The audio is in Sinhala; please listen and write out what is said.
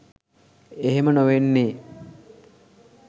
එහෙම නොවෙන්නේ